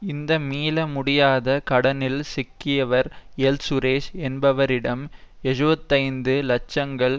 இந்த மீள முடியாத கடனில் சிக்கியவர் எல் சுரேஷ் என்பவரிடம் எஜூபத்தைந்து லட்சங்கள்